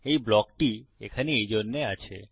এই ব্লকটি এখানে এইজন্যে আছে